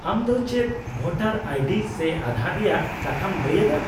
-ᱟᱢ ᱫᱚ ᱪᱮᱫ ᱵᱷᱳᱴᱟᱨ ᱟᱭᱰᱤ ᱥᱮ ᱟᱸᱫᱷᱟᱨ ᱨᱮᱭᱟᱜ ᱠᱟᱛᱷᱟᱢ ᱞᱟᱹᱭ ᱮᱫᱟ ᱾